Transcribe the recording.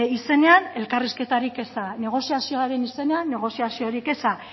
izenean elkarrizketarik eza negoziazioaren izenean negoziaziorik eza